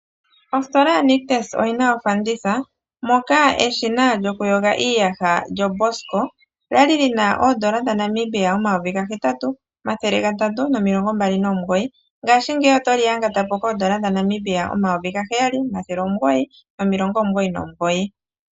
Ositola yaNictus oyi na ofanditha, moka eshina lyokuyoga iiyaha lyoBosch kwa li lyi na oondola dhaNamibia omayovi gahetatu, omathele gatatu nomilongo mbali nomugoyi ihe ngashingeyi oto li yangata po koondola omayovi gaheyali, omathele omugoyi nomilongo omugoyi nomugoyi.